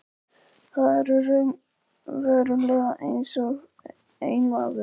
Þau eru raunverulega einsog einn maður.